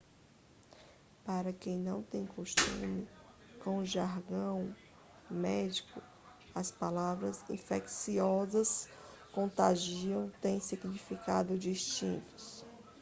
para quem não tem costume com o jargão médico as palavras infecciosa e contagiosa têm significados distintos